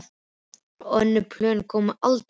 Og önnur plön komu aldrei til greina.